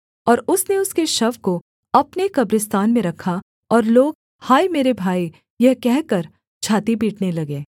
और उसने उसके शव को अपने कब्रिस्तान में रखा और लोग हाय मेरे भाई यह कहकर छाती पीटने लगे